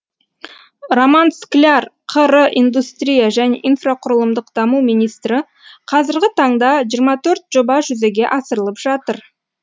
роман скляр қр индустрия және инфрақұрылымдық даму министрі қазіргі таңда жиырма төрт жоба жүзеге асырылып жатыр